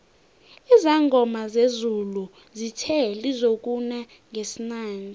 izangoma zezulu zithe lizokuna ngesinanje